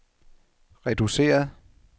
reduceret